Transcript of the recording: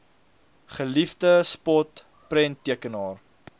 geliefde spot prenttekenaar